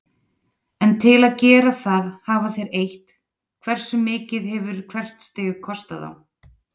En til að gera það hafa þeir eytt, hversu mikið hefur hvert stig kostað þá?